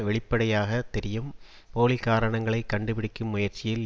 வெளிப்படையாக தெரியும் போலி காரணங்களை கண்டு பிடிக்கும் முயற்சியில்